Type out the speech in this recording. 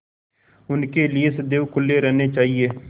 उनके लिए सदैव खुले रहने चाहिए